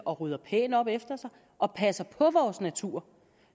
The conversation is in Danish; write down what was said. rydder pænt op efter sig og passer på naturen